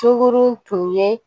Sunkuru tun ye